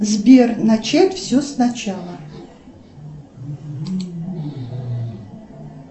сбер начать все сначала